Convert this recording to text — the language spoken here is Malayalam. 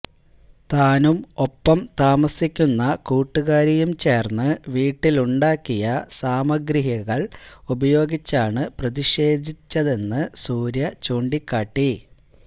താനും ഒപ്പം താമസിക്കുന്ന കൂട്ടുകാരിയും ചേർന്ന് വീട്ടിലുണ്ടാക്കിയ സാമഗ്രികൾ ഉപയോഗിച്ചാണ് പ്രതിഷേധിച്ചതെന്ന് സൂര്യ ചൂണ്ടിക്കാട്ടി